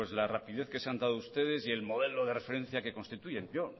la rapidez que se han dado ustedes y el modelo de referencia que constituyen yo